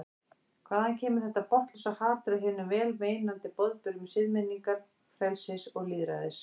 Hvaðan kemur þetta botnlausa hatur á hinum vel meinandi boðberum siðmenningar, frelsis og lýðræðis?